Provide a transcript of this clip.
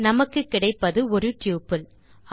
நமக்கு கிடைப்பது ஒரு டப்பிள்